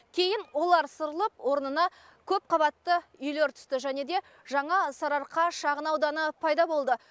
кейін олар сырылып орнына көп қабатты үйлер түсті және де жаңа сарыарқа шағын ауданы пайда болды